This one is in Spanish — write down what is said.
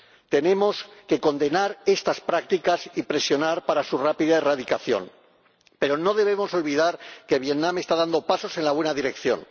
Tenemos que condenar estas prácticas y presionar para su rápida erradicación, pero no debemos olvidar que Vietnam está dando pasos en la buena dirección.